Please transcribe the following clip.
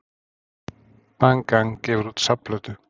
Bang Gang gefur út safnplötu